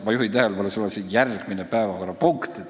Ma juhin tähelepanu, et see on järgmine päevakorrapunkt.